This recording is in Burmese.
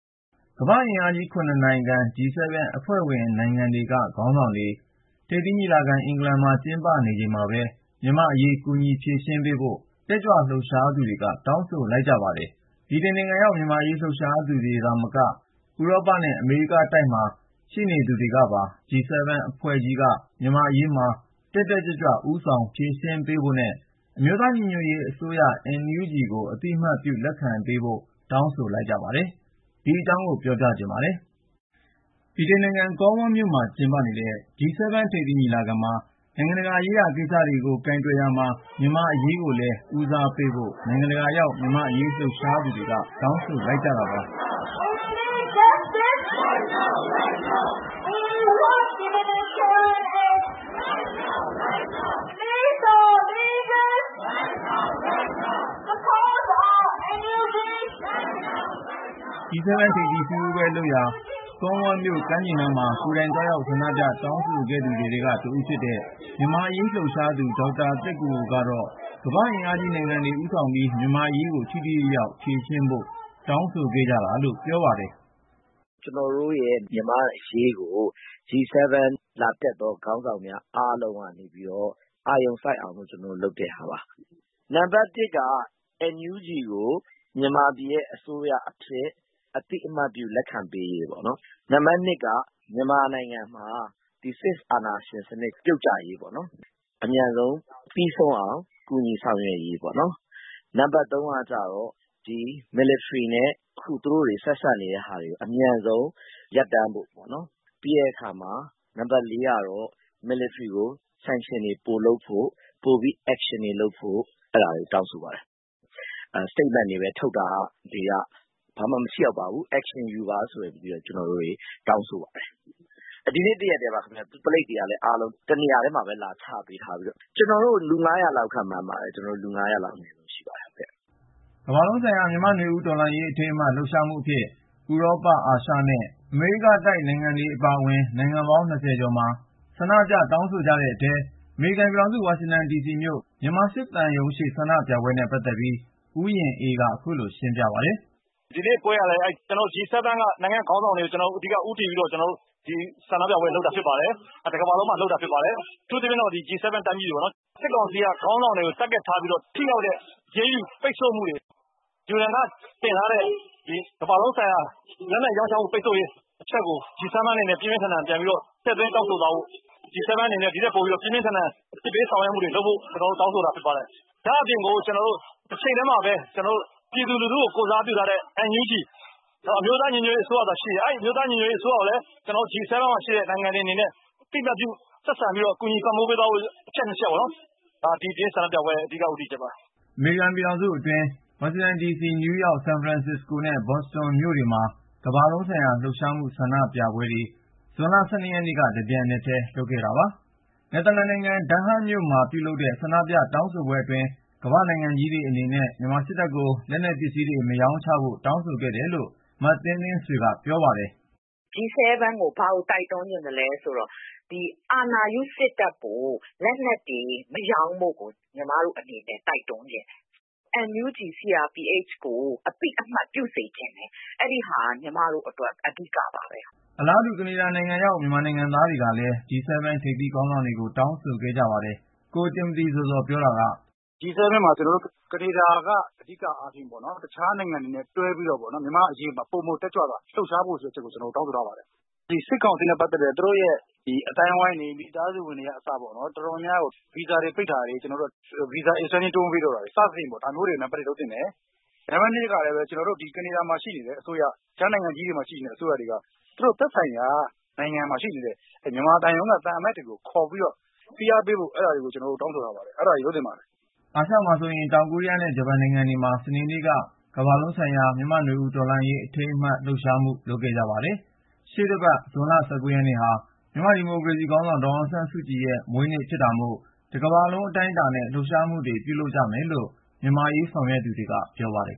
ကမ္ဘာ့အင်အားကြီး ၇ နိုင်ငံ G-7 အဖွဲ့ဝင်နိုင်ငံတွေက ခေါင်းဆောင်တွေ ထိပ်သီးညီလာခံ အင်္ဂလန်မှာ ကျင်းပနေချိန်မှာပဲ မြန်မာ့အရေး ကူညီဖြေရှင်းပေးဖို့ တက်ကြွလှုပ်ရှားသူတွေက တောင်းဆိုလိုက်ကြပါတယ်။ ဗြိတိန်နိုင်ငံရောက် မြန်မာ့အရေး လှုပ်ရှားသူတွေသာမက ဥရောပနဲ့ အမေရိကတိုက်မှာ ရှိနေသူတွေပါ G-7 အဖွဲ့ကြီးက မြန်မာ့အရေးမှာ တက်တက်ကြွကြွ ဦးဆောင်ဖြေရှင်းဖို့နဲ့ အမျိုးသားညီညွတ်ရေးအစိုးရ ကို အသိအမှတ်ပြု လက်ခံကြဖို့ တောင်းဆိုလိုက်ကြတာပါ။ အပြည့်အစုံကိုတော့ ဆက်သွယ်မေးမြန်းထားတဲ့ ကိုဉာဏ်ဝင်းအောင်က တင်ပြထားပါတယ်။ ဗြိတိန်နိုင်ငံ Cornwall မြို့မှာ ကျင်းပနေတဲ့ G-7 ထိပ်သီးညီလာခံမှာ နိုင်ငံတကာရေးရာ ကိစ္စတွေကို ကိုင်တွယ်ရာမှာ မြန်မာ့အရေးကိုလည်း ဦးစားပေးဖို့ နိုင်ငံတကာရောက် မြန်မာ့အရေး လှုပ်ရှားသူတွေ တောင်းဆိုလိုက်ကြတာပါ။ G-7 ထိပ်သီးအစည်းအဝေးပွဲလုပ်ရာ Cornwall မြို့ ကမ်းခြေနားမှာ ကိုယ်တိုင်သွားရောက် ဆန္ဒပြ တောင်းဆိုခဲ့သူတွေထဲက တဦးဖြစ်တဲ့ မြန်မာ့အရေးလှုပ်ရှားသူ ဒေါက်တာသက်ကိုကိုကတော့ ကမ္ဘာ့အင်အားကြီးနိုင်ငံတွေ ဦးဆောင်ပြီး မြန်မာ့အရေးကို ထိထိရောက်ရောက် ဖြေရှင်းပေးဖို့ တောင်းဆိုခဲ့ကြတာလို့ ပြောပါတယ်။ "ကျနော်တို့ရဲ့ မြန်မာ့အရေးကို G-7 လာတက်သော ခေါင်းဆောင်များ အားလုံးကနေပြီးတော့ အာရုံစိုက်အောင်လို့ ကျနော်တို့ ဆန္ဒလာပြတာပါ။ နံပါတ် ၁ က NUG ကို မြန်မာပြည်ရဲ့ အစိုးရအဖြစ် အသိအမှတ်ပြု လက်ခံပေးရေးပေါ့။ နံပါတ် ၂ က မြန်မာနိုင်ငံမှာ စစ်အာဏာရှင်စနစ် ပြုတ်ကျရေးပေါ့၊ အမြန်ဆုံး ပြီးဆုံးအောင် ကူညီဆောင်ရွက်ပေးရေးပေါ့နော်၊ နံပါတ် ၃ ကကျတော့ မြန်မာစစ်တပ်နဲ့ သူတို့ ဆက်ဆံနေတာတွေကို အမြန်ဆုံး ရပ်တန့်ပေးဖို့ပေါ့နော်၊ ပြီးတဲ့အခါ နံပါတ် ၄ ကတော့ မြန်မာစစ်တပ်ကို ပိတ်ဆို့ဒဏ်ခတ်မှုတွေ ပိုလုပ်ဖို့၊ ပိုပြီး အရေးယူဆောင်ရွက်မှု Action တွေလုပ်ဖို့ဆိုပြီး အဲဒါတွေကို တောင်းဆိုပါတယ်။ ကြေညာချက်တွေပဲ ထုတ်တာက ဘာမှ မထိရောက်ပါဘူး၊ Action ယူပါဆိုပြီး ကျနော်တို့တွေ တောင်းဆိုခဲ့ပါတယ်။ ဆန္ဒပြပွဲမှာ ကျနော်တို့ လူ ၅၀၀ လောက် ရှိပါတယ်။" ကမ္ဘာလုံးဆိုင်ရာ မြန်မာ့နွေဦးတော်လှန်ရေး အထိမ်းအမှတ် လှုပ်ရှားမှုအဖြစ် ဇွန်လ ၁၂-၁၃ နေ့တွေမှာ ဥရောပ၊ အာရှနဲ့ အမေရိကတိုက်က နိုင်ငံပေါင်း ၂၀ ကျော်အတွင်း ဆန္ဒပြ တောင်းဆိုကြတဲ့အထဲ အမေရိကန်ပြည်ထောင်စု ဝါရှင်ဒီစီမြို့ မြန်မာစစ်သံရုံးရှေ့ ဆန္ဒပြပွဲနဲ့ ပတ်သက်ပြီး ဦးရင်အေးက ခုလို ရှင်းပြပါတယ်။ "ဒီနေ့ပွဲကလည်း အဲဒီ G-7 က နိုင်ငံ့ခေါင်းဆောင်တွေကို အဓိက ဦးတည်ပြီးတော့ ကျနော်တို့ ဆန္ဒပြပွဲလုပ်နေတာ ဖြစ်ပါတယ်။ တကမ္ဘာလုံးမှာလုပ်တာ ဖြစ်ပါတယ်။ အထူးသဖြင့်တော့ G-7 တိုင်းပြည်တွေမှာ လုပ်တာပေါ့နော်။ စစ်ကောင်စီက ခေါင်းဆောင်တွေကို ပစ်မှတ်ထားပြီးတော့ ထိရောက်တဲ့ အရေးယူ ပိတ်ဆို့မှုတွေ၊ ပြီးတော့ UN မှာ တင်ထားတဲ့ မြန်မာစစ်တပ်ကို ကမ္ဘာလုံးဆိုင်ရာ လက်နက်ရောင်းချမှု ပိတ်ဆို့ရေးအချက်ကို G-7 အနေနဲ့ ပြန်ပြီး ပြင်းပြင်းထန်ထန် ထည့်သွင်းတောင်းဆိုသွားဖို့၊ G-7 အနေနဲ့ ဒီထက်ပိုပြီး အပြစ်ပေး ဆောင်ရွက်မှုတွေ လုပ်ဖို့ကို ကျနော်တို့ တောင်းဆိုတာ ဖြစ်ပါတယ်။ တချိန်တည်းမှာပဲ ပြည်သူလူထုကို ကိုယ်စားပြုထားတဲ့ NUG အမျိုးသားညီညွတ်ရေး အစိုးရကိုလည်း G-7 နိုင်ငံတွေအနေနဲ့ အသိအမှတ်ပြု ဆက်ဆံပြီးတော့ ကူညီပံ့ပိုးပေးသွားဖို့ဆိုတဲ့ အချက်တွေက ဒီနေ့ဆန္ဒပြပွဲရဲ့ အဓိက ဦးတည်ချက်ပါ။" အမေရိကန်ပြည်ထောင်စုအတွင်း ဝါရှင်တန်ဒီစီ၊ နယူးယောက်၊ ဆန်ဖရန်စစ္စကိုနဲ့ ဘော့စတွန်မြို့တွေမှာ ကမ္ဘာလုံးဆိုင်ရာ လှုပ်ရှားမှု ဆန္ဒပြပွဲကို ဇွန် ၁၂ ရက်နေ့မှာ တပြိုင်နက်တည်း လုပ်ခဲ့တာပါ။ နယ်သာလန်နိုင်ငံ ဒန်းဟတ်မြို့မှာ ပြုလုပ်တဲ့ ဆန္ဒပြတောင်းဆိုပွဲမှာတော့ ကမ္ဘာ့နိုင်ငံကြီးတွေ အနေနဲ့ မြန်မာစစ်တပ်ကို လက်နက်ပစ္စည်းတွေ မရောင်းချဖို့ တောင်းဆိုခဲ့တယ်လို့ မသင်းသင်းဆွေက ပြောပါတယ်။ "G-7 ကို ဘာတိုက်တွန်းချင်သလဲ ဆိုတော့ ဒီအာဏာရူး စစ်တပ်ကို လက်နက်တွေ မရောင်းဖို့ ကျမတို့အနေနဲ့ တိုက်တွန်းချင်တယ်။ NUG / CRPH ကို အသိအမှတ် ပြုပေးစေချင်တယ်။ အဲဒီဟာက ကျမတို့အတွက် အဓိကပါပဲ။" အလားတူ ကနေဒါနိုင်ငံရောက် မြန်မာနိုင်ငံသားတွေကလည်း G-7 ထိပ်သီးခေါင်းဆောင်တွေကို တောင်းဆိုခဲ့ကြပါတယ်။ ကိုတင်မသီဇော်ဇော် ပြောတာက- "G-7 မှာ ကျနော်တို့ ကနေဒါက အဓိကအားဖြင့်ပေါ့နော်၊ အခြားနိုင်ငံတွေနဲ့ တွဲပြီး မြန်မာ့အရေးမှာ ပိုမိုတက်ကြွစွာ လှုပ်ရှားဖို့ဆိုပြီး ကျနော်တို့ တောင်းဆိုထားပါတယ်။ စစ်ကောင်စီနဲ့ ပတ်သက်တဲ့ သူတို့အသိုင်းအဝိုင်းတွေ မိသားစုဝင်တွေက အစပေါ့နော် ဗီဇာသက်တမ်း တိုးမပေးတာတွေ၊ ပိတ်တာတွေ ဒါတွေလုပ်သင့်တယ်။ နောက်တချက်က ကနေဒါအစိုးရ၊ အခြားနိုင်ငံကြီးမှာရှိတဲ့ အစိုးရတွေက သူတို့ သက်ဆိုင်ရာနိုင်ငံတွေမှာ ရှိနေတဲ့ မြန်မာသံရုံးက သံအမတ်တွေကို ခေါ်ပြီးတော့ ဖိအားပေး ပြောဆိုဖို့ ကျနော်တို့ တောင်းဆိုပါတယ်။" အာရှမှာဆိုရင် တောင်ကိုရီးယားနဲ့ ဂျပန်နိုင်ငံတွေမှာလည်း စနေနေ့က ကမ္ဘာလုံးဆိုင်ရာ မြန်မာ့နွေဦးတော်လှန်ရေး အထိမ်းအမှတ် လှုပ်ရှားမှု လုပ်ခဲ့ကြပါတယ်။ ရှေ့တပတ် ဇွန်လ ၁၉ ရက်နေ့ဟာ မြန်မာ့ဒီမိုကရေစီခေါင်းဆောင် ဒေါ်အောင်ဆန်းစုကြည်ရဲ့ မွေးနေ့ဖြစ်တာမို့ တကမ္ဘာလုံး အတိုင်းအတာနဲ့ လှုပ်ရှားမှုတွေ လုပ်ကြမယ်လို့ မြန်မာ့အရေး ဆောင်ရွက်သူတွေက ပြောပါတယ်